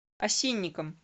осинникам